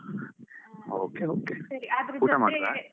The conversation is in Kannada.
Okay okay ಊಟ ಮಾಡಿದ್ರ?